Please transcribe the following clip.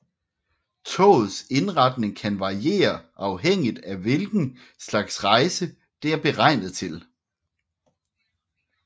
Togets indretning kan variere afhængigt af hvilken slags rejse det er beregnet til